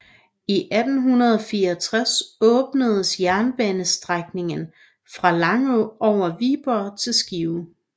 I 1864 åbnedes jernbanestrækningen fra Langå over Viborg til Skive